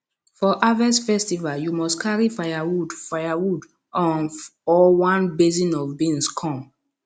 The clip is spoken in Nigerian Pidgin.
for harvest festival you must carry firewood firewood um or one basin of beans come